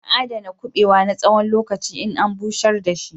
Ana aɗana kubewa na tsawon lokaci in an bushar da shi.